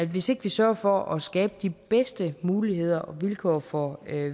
hvis ikke vi sørger for at skabe de bedste muligheder og vilkår for